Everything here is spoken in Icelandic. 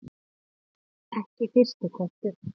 Ekki fyrsti kostur